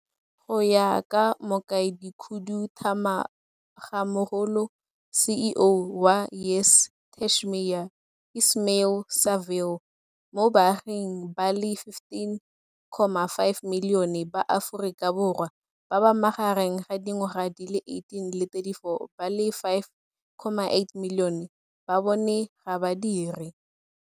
Go ya ka Mokaedikhuduthamagamogolo CEO wa YES Tashmia Ismail-Saville, mo baaging ba le 15.5 milione ba Aforika Bo rwa ba ba magareng ga di ngwaga di le 18 le 34, ba le 5.8 milione ba bone ga ba dire.